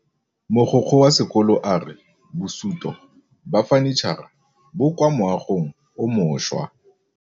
Mogokgo wa sekolo a re bosutô ba fanitšhara bo kwa moagong o mošwa.